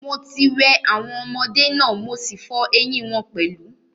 Mo ti wẹ̀ awọn ọmọdé náà, mo sí fọ eyín wọn pẹ̀lú.